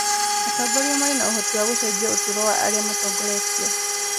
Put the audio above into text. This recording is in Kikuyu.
Atongoria marĩ na ũhotiwa gũcenjia ũtũũro wa aria matongorĩtwo.